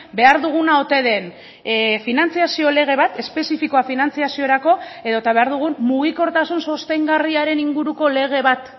behar duguna ote den finantzazio lege bat espezifikoa finantzaziorako edota behar dugun mugikortasun sostengarriaren inguruko lege bat